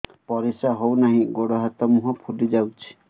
ପରିସ୍ରା ହଉ ନାହିଁ ଗୋଡ଼ ହାତ ମୁହଁ ଫୁଲି ଯାଉଛି